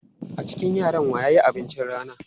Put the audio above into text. A cikin yaran wa ya yi abincin rana?